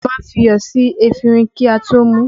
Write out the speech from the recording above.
A má ń fi iyọ̀ sí efinrin kí a tó mú u